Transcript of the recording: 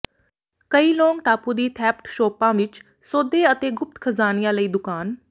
ਕਈ ਲੌਂਗ ਟਾਪੂ ਦੀ ਥੈਫਿਟ ਸ਼ੋਪਾਂ ਵਿੱਚ ਸੌਦੇ ਅਤੇ ਗੁਪਤ ਖਜ਼ਾਨਿਆਂ ਲਈ ਦੁਕਾਨ